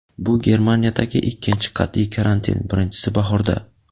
bu – Germaniyadagi ikkinchi qat’iy karantin(birinchisi bahorda).